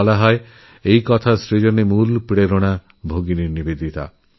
বলা হয় এসবেরও প্রেরণার উৎস ছিলেন ভগিনী নিবেদিতা